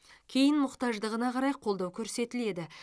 кейін мұқтаждығына қарай қолдау көрсетіледі